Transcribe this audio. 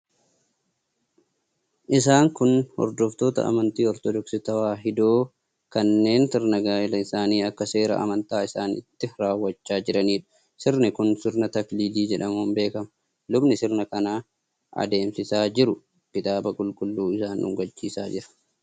Isaan kun hordoftoota amantaa Ortodoksii Tewaahidoo kanneen sirna gaa'elaa isaanii akka seera amantaa isaaniitti raawwachaa jiraniidha. Sirni kun sirna Takiliilii jedhamuun beekama. Lubni sirna kana adeemsisaa jiru kitaaba Qulqulluu isaan dhungachiisaa jira.